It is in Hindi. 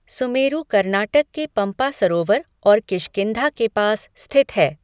सुमेरु कर्नाटक के पम्पा सरोवर और किष्किंधा के पास स्थित है।